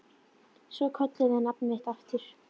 Svo kölluðu þeir nafn mitt aftur.